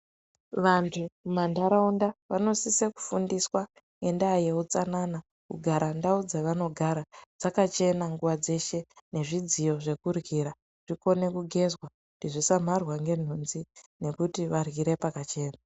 Vantu mumantaraunda vanonise kufundiswa ngendaa yeutsanana. Kugara ndau dzavanogara dzakachena nguva dzeshe nezvidziyo zvekuryira zvikone kugezwa kuti zvisamharwa ngenhunzi, nekuti varyire pakachena.